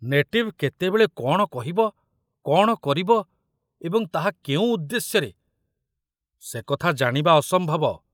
Native କେତେବେଳେ କଣ କହିବ, କଣ କରିବ ଏବଂ ତାହା କେଉଁ ଉଦ୍ଦେଶ୍ୟରେ, ସେକଥା ଜାଣିବା ଅସମ୍ଭବ।